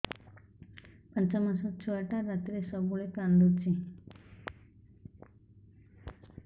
ପାଞ୍ଚ ମାସ ଛୁଆଟା ରାତିରେ ସବୁବେଳେ କାନ୍ଦୁଚି